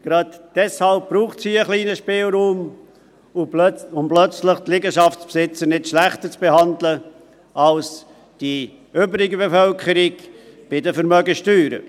Gerade deshalb braucht es hier einen kleinen Spielraum, um die Liegenschaftsbesitzer bei den Vermögenssteuern nicht plötzlich schlechter als die übrige Bevölkerung zu behandeln.